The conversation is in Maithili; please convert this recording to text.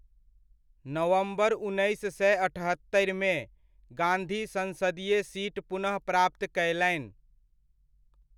नवम्बर उन्नैस सए अठहत्तरिमे, गांधी सन्सदीय सीट पुनः प्राप्त कयलनि।